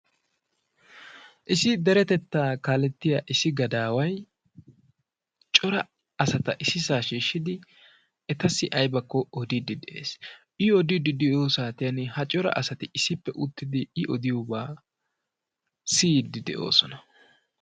issi derettettaa kalettiyaa issi gadaway cora asata issisaa shiishidi etassi aybako odiidi de"ees. i odiidi de'iyoo saatiyan ha cora asati issippe uttidi i odiyoobaa siiyidi de'oosona.